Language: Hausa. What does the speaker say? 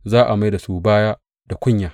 za a mai da su baya da kunya.